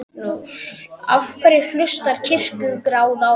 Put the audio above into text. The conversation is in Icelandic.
Magnús: Af hverju hlustar Kirkjuráð á þig?